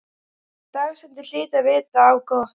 Dagsetningin hlyti að vita á gott.